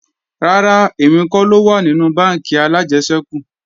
Rárá, èmi kọ́ ló wà nínú bánkì alájẹsẹ́kù